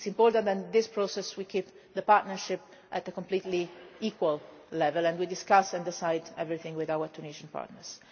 It is important that in this process we keep the partnership on a completely equal level and that we discuss and decide everything with our Tunisian partners.